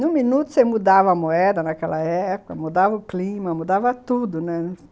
No minuto, você mudava a moeda naquela época, mudava o clima, mudava tudo.